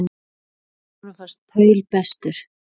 Honum fannst Paul bestur.